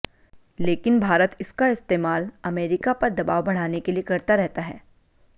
लेकिन भारत इसका इस्तेमाल अमेरिका पर दबाव बढ़ाने के लिए करता रहता है